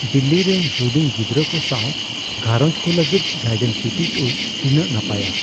ᱫᱤᱞᱞᱤ ᱨᱮ ᱦᱩᱰᱤᱧ ᱜᱤᱫᱽᱨᱟᱹ ᱠᱚ ᱥᱟᱶ ᱜᱷᱟᱨᱚᱸᱡᱽ ᱠᱚ ᱞᱟᱹᱜᱤᱫ ᱜᱟᱭᱰᱮᱱ ᱥᱤᱴᱤ ᱴᱩᱨᱥ ᱛᱤᱱᱟᱹᱜ ᱱᱟᱯᱟᱭᱟ ᱾